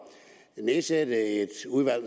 at nedsætte et udvalg